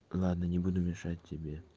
ладно не буду мешать тебе